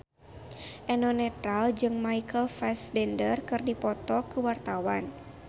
Eno Netral jeung Michael Fassbender keur dipoto ku wartawan